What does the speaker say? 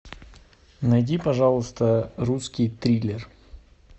найди пожалуйста русский триллер